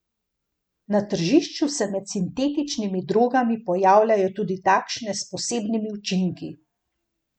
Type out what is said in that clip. Na tržišču se med sintetičnimi drogami pojavljajo tudi takšne s posebnimi učinki.